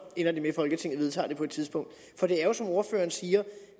ender det med at folketinget vedtager det på et tidspunkt for det er jo som ordføreren siger